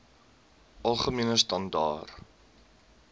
algemene standaar